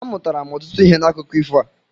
Amụtara m ọtụtụ ihe n'akụko ifo a.